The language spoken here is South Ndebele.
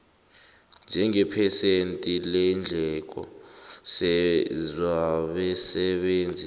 njengephesenti leendleko zabasebenzi